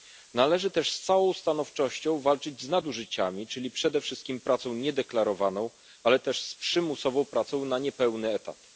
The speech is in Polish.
Należy też z całą stanowczością walczyć z nadużyciami, czyli przede wszystkim pracą niedeklarowaną, ale też z przymusową pracą na niepełny etat.